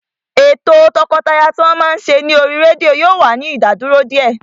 Ètò o tọkọtaya tí wọ́n máa ń ṣe ní oríi rédíò yóò wá ìdádúró díẹ̀